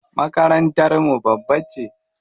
Makarantar mu babba ce.